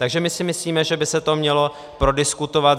Takže my si myslíme, že by se to mělo prodiskutovat.